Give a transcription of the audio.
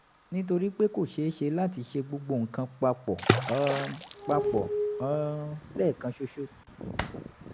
nítorí pé kò ṣeé ṣe láti ṣe gbogbo nǹkan pa pọ̀ um pa pọ̀ um lẹ́ẹ̀kan ṣoṣo